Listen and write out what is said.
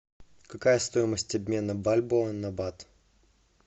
какая стоимость обмена бальбоа на бат